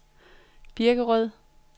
Birkerød